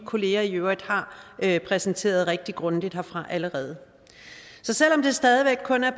kolleger i øvrigt har præsenteret rigtig grundigt heroppefra allerede så selv om der stadig væk kun er